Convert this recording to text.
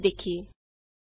ਚਲੋ ਇਹ ਵੀ ਦੇਖੀਏ